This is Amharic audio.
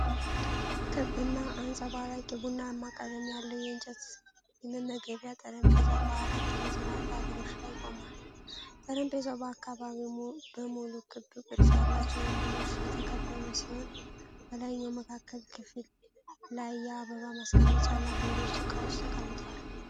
ክብ እና አንጸባራቂ ቡናማ ቀለም ያለው የእንጨት የመመገቢያ ጠረጴዛ በአራት ጠመዝማዛ እግሮች ላይ ቆሟል። ጠረጴዛው በአካባቢው በሙሉ ክብ ቅርጽ ያላቸው ወንበሮች የተከበበ ሲሆን፣ በላይኛው መካከለኛ ክፍል ላይ የአበባ ማስቀመጫ እና ሌሎች ዕቃዎች ተቀምጠዋል።